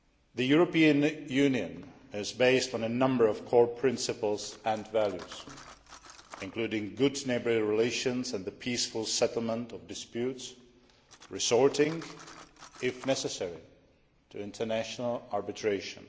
The European Union is based on number of core principles and values including good neighbourly relations and the peaceful settlement of disputes, resorting if necessary to international arbitration.